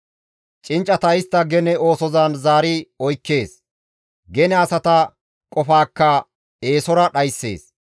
Cinccata istta gene oosozan zaari oykkees. Gene asata qofaakka eesora dhayssees.